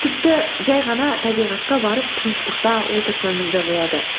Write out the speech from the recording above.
тіпті жай ғана табиғатқа барып тыныштықта отырсаңыз да болады